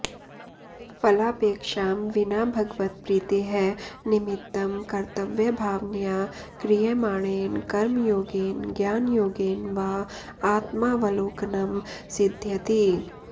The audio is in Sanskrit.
फलापेक्षां विना भगवत्प्रीतेः निमित्तं कर्तव्यभावनया क्रियमाणेन कर्मयोगेन ज्ञानयोगेन वा आत्मावलोकनं सिद्ध्यति